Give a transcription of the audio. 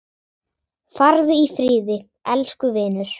Farðu í friði, elsku vinur.